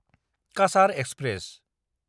Cachar express